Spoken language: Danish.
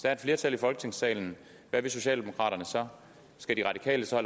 er et flertal i folketingssalen hvad vil socialdemokraterne så skal de radikale så